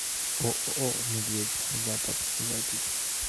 ооо медведь запад запись